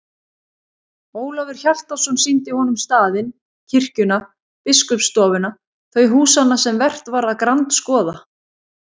Ólafur Hjaltason sýndi honum staðinn, kirkjuna, biskupsstofuna, þau húsanna sem vert var að grandskoða.